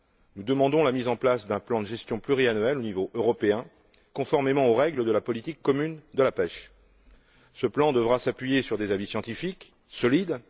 Nous demandons la mise en place d'un plan de gestion pluriannuel au niveau européen, conformément aux règles de la politique commune de la pêche. Ce plan devra s'appuyer sur des avis scientifiques et solides.